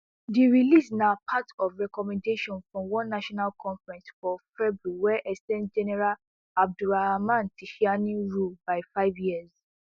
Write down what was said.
di release na na part of recommendations from one national conference for february wey ex ten d general abdourahamane tchiani rule by five years